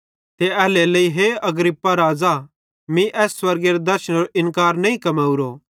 ते एल्हेरेलेइ हे अग्रिप्पा राज़ा मीं एस स्वर्गेरे दर्शनेरो इन्कार नईं कमेवरो